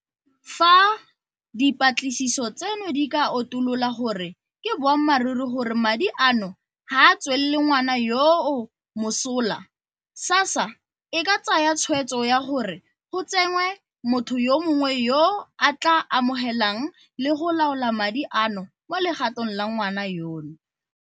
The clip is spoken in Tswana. Fa dipatlisiso tseno di ka utulola gore ke boammaruri gore madi a no ga a tswele ngwana yoo mosola, SASSA e ka tsaya tshwetso ya gore go tsenngwe motho yo mongwe yo a tla amogelang le go laola madi ano mo legatong la ngwana yono.